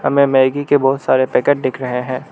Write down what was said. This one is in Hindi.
मै मैगी के बहुत सारे पैकेट दिख रहे हैं।